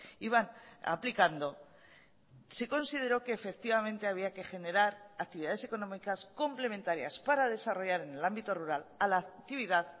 iban aplicando se consideró que efectivamente había que generar actividades económicas complementarias para desarrollar en el ámbito rural a la actividad